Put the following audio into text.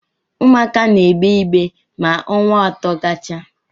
Ụmụaka na-egbe ibe ma ọnwa atọ gachaa